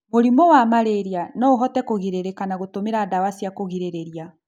Mũrimũ wa malarĩa noũhote kũgirĩrĩka na gũtũmĩra dawa cia kũgirĩrĩrĩa